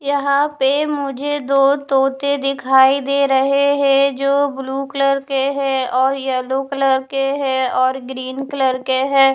यहाँ पर मुझे दो तोते दिखाई दे रहे है जो ब्लू कलर के है और येल्लो कलर के है और ग्रीन कलर के है।